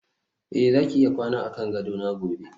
eh zaki iya kwana akan gadona gobe